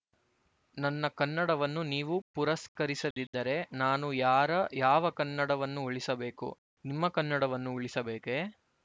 ನನ್ನ ಕನ್ನಡವನ್ನು ನೀವು ಪುರಸ್ಕರಿಸದಿದ್ದರೆ ನಾನು ಯಾರಯಾವ ಕನ್ನಡವನ್ನು ಉಳಿಸಬೇಕು ನಿಮ್ಮ ಕನ್ನಡವನ್ನು ಉಳಿಸಬೇಕೇ